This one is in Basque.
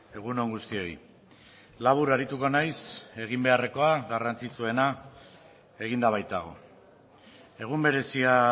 egun on guztioi labur arituko naiz egin beharrekoa garrantzitsuena eginda baitago egun berezia